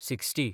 sixty